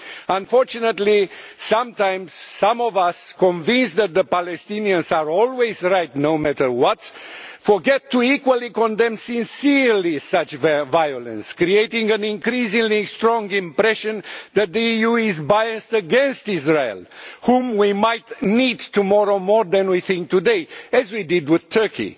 Unfortunately, sometimes some of us, convinced that the Palestinians are always right, no matter what, forget to equally condemn sincerely such violence, creating an increasingly strong impression that the EU is biased against Israel, whom we might need tomorrow more than we think today as we did with Turkey.